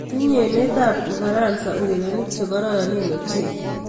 Tinyei emee kab Ufaransa urerenik ce kororonen ochei.